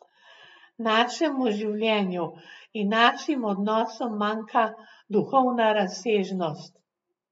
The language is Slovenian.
Našemu življenju in našim odnosom manjka duhovna razsežnost.